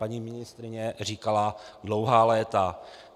Paní ministryně říkala dlouhá léta.